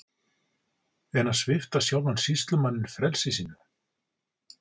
En að svipta sjálfan sýslumanninn frelsi sínu!